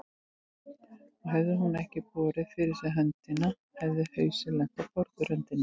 Og hefði hún ekki borið fyrir sig hina höndina hefði hausinn lent á borðröndinni.